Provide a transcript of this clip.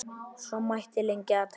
Svo mætti lengi telja.